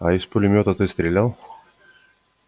а из пулемёта ты стрелял